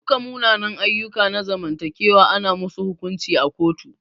Duka munanan ayyuka na zamantakewa ana musu hukunci a kotu.